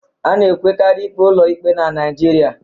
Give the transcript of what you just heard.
A na-enwekari ikpe ụlọ ikpe na Naịjirịa